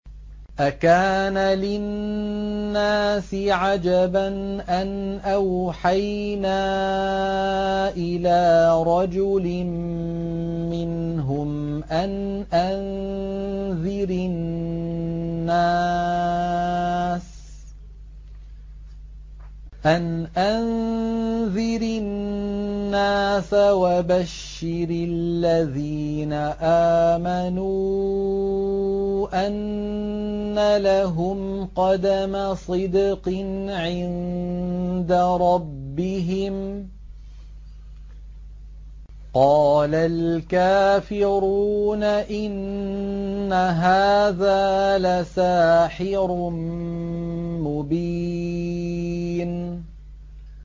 أَكَانَ لِلنَّاسِ عَجَبًا أَنْ أَوْحَيْنَا إِلَىٰ رَجُلٍ مِّنْهُمْ أَنْ أَنذِرِ النَّاسَ وَبَشِّرِ الَّذِينَ آمَنُوا أَنَّ لَهُمْ قَدَمَ صِدْقٍ عِندَ رَبِّهِمْ ۗ قَالَ الْكَافِرُونَ إِنَّ هَٰذَا لَسَاحِرٌ مُّبِينٌ